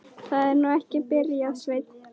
Það er nú ekki. byrjaði Sveinn.